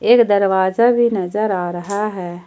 एक दरवाजा भी नजर आ रहा है।